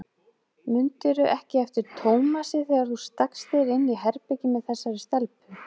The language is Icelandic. Mundirðu ekki eftir Tómasi þegar þú stakkst þér inn í herbergið með þessari stelpu?